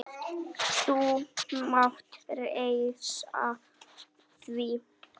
Þú mátt treysta því!